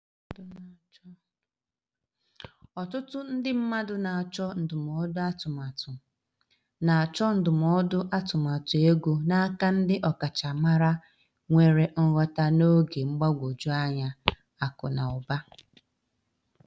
Ọtụtụ ndị mmadụ na-achọ ndụmọdụ atụmatụ na-achọ ndụmọdụ atụmatụ ego n'aka ndị ọkachamara nwere nghota n’oge mgbagwoju anya akụ na ụba.